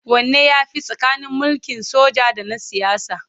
Wanne ya fi tsakanin mulkin soja da na siyasa?